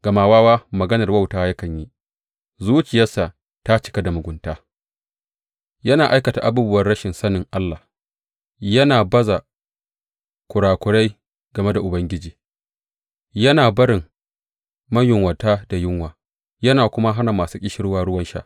Gama wawa maganar wauta yakan yi, zuciyarsa ta cika da mugunta, yana aikata abubuwan rashin sanin Allah yana baza kurakurai game da Ubangiji; yana barin mayunwata da yunwa ya kuma hana masu ƙishirwa ruwan sha.